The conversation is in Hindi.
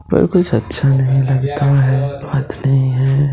पर कुछ अच्छा नहीं लगता है बात नहीं है।